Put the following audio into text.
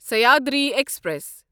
Sahyadri express